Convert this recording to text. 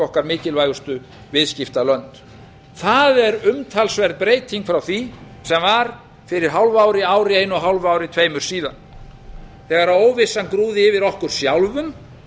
okkar mikilvægustu viðskiptalönd það er umtalsverð breyting frá því sem var fyrir hálfu ári einu ári einu og hálfu ári tveimur síðan þegar óvissan grúfði yfir okkur sjálfum